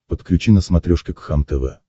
подключи на смотрешке кхлм тв